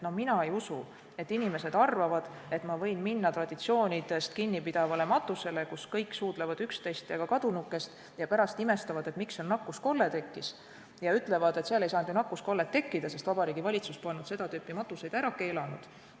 Mina ei usu, nagu inimesed arvaksid, et võib minna matusele, kus traditsioonidest kinni peetakse ja kus kõik suudlevad üksteist ja ka kadunukest, ning siis pärast imestaksid, miks nakkuskolle tekkis, ja ütleksid, et seal ei saanud nakkuskollet tekkida, sest Vabariigi Valitsus polnud seda tüüpi matuseid ära keelanud.